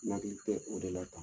N Nakili tɛ o dɔ la tan